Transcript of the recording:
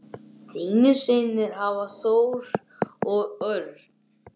Þínir synir Hafþór og Örn.